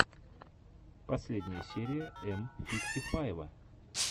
последняя серия м фифти файва